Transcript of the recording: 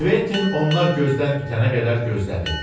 Kventin onlar gözdən itənə qədər gözlədi.